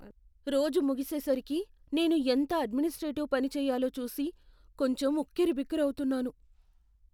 రోజు ముగిసేసరికి నేను ఎంత అడ్మినిస్ట్రేటివ్ పని చెయ్యాలో చూసి కొంచెం ఉక్కిరిబిక్కిరవుతున్నాను.